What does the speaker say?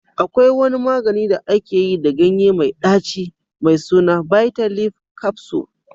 Akwai wani magani da aka yi da ganye mai ɗaci mai suna bitter leaf capsule